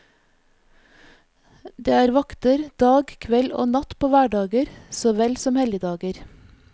Det er vakter dag, kveld og natt på hverdager så vel som helligdager.